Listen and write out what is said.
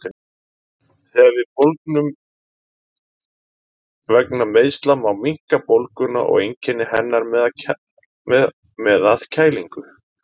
Þegar við bólgnum vegna meiðsla má minnka bólguna og einkenni hennar með að kælingu.